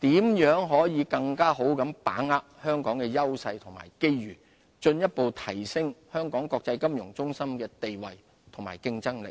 如何更好把握香港的優勢和機遇，進一步提升香港國際金融中心的地位和競爭力。